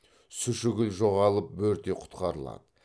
сушігіл жоғалып бөрте құтқарылады